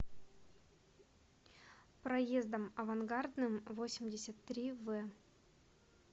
проездом авангардным восемьдесят три в